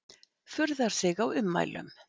Furðar sig á ummælum